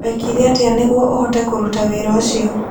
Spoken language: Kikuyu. Wekire atĩa nĩguo ũhote kũruta wĩra ũcio?